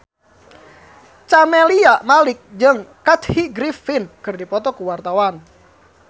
Camelia Malik jeung Kathy Griffin keur dipoto ku wartawan